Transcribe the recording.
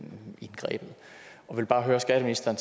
vil bare høre skatteministeren